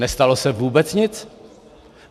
Nestalo se vůbec nic.